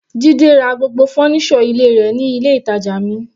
Jide ra gbogbo fọ́nísọ̀ ilé rẹ̀ ní ilé ìtàjà mi.